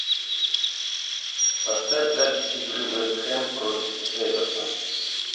поставь запись игры вест хэм против эвертон